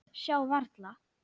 Sjá varla.